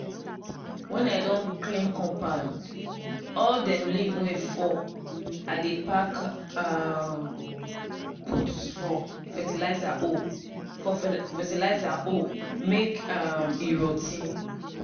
when i don clean compound all dem leave wey fall i dey pack um put for fertilizer hole for fertilizer hole mek um e rot ten.